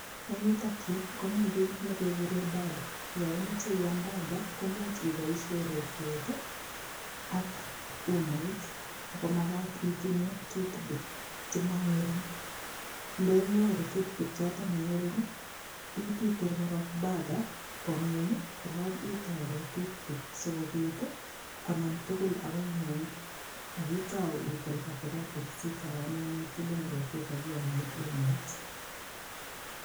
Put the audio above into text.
Eng yutok yu komi kiy negeguren burger. Yo imoche iyam burger, komuch iboisien rotwet ak uamait ago magat itinye toothpick che mangering. Ndenyoru toothpick choto ma ngering ititil korog burger kwo ingweny, koro itore toothpick sigopit ii konam tugul agoi ingwony ak itau itil katikati sitau anyun itile rotwet ak iame umoit.